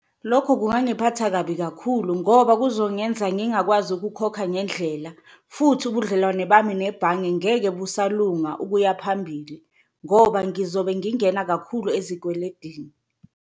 Lokho kungangiphatha kabi kakhulu ngoba kuzongenza ngingakwazi ukukhokha ngendlela, futhi ubudlelwane bami nebhange ngeke busalungisa ukuya phambili ngoba ngizobe ngingena kakhulu ezikweledini.